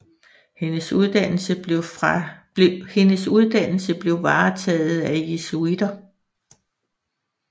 Hendes uddannelse blev varetaget af jesuiter